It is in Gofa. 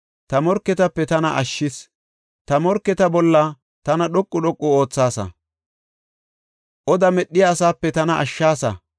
Ta morketape tana ashshees; ta morketa bolla tana dhoqu dhoqu oothaasa; Oda medhiya asape tana ashshaasa.